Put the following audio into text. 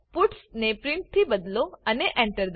puts ને print થી બદલો અને Enter